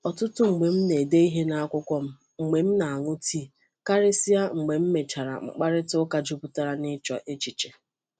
Ọtụtụ mgbe m na-ede ihe n’akwụkwọ m mgbe m na-aṅụ tii, karịsịa mgbe m mechara mkparịta ụka jupụtara n’ịchọ echiche.